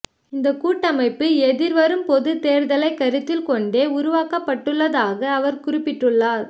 இந்த கூட்டமைப்பு எதிர்வரும் பொதுத் தேர்தலை கருத்திற் கொண்டே உருவாக்கப்படுவதாக அவர் குறிப்பிட்டுள்ளார்